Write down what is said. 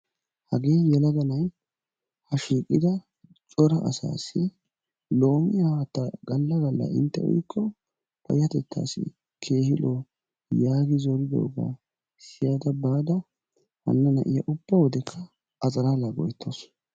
hagee yelaga na'ay ha shiiqida cora asaassi loomiya haattaa galla galla inte uyikko payatettaassi keehi lo'o yaagi zoridoogaa siyada baada hana na'iya uba wodekka a xalaalaa go'etawusu.